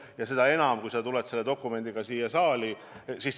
Eriti just siis, kui sa tuled selle dokumendiga siia saali.